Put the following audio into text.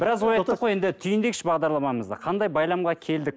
біраз ой айттық қой енді түйіндейікші бағдарламамызды қандай байламға келдік